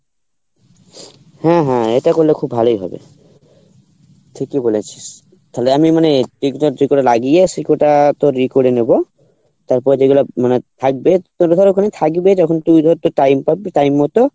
হম হম এটা করলে খুব ভালোই হবে ঠিকই বলেছিস তালে আমি মানে সেকটা তোর ই করে নেবো তারপর যেগুলা মানে থাকবে time মতো